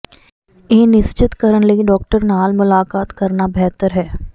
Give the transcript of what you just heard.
ਇਹ ਨਿਸ਼ਚਤ ਕਰਨ ਲਈ ਡਾਕਟਰ ਨਾਲ ਮੁਲਾਕਾਤ ਕਰਨਾ ਬਿਹਤਰ ਹੈ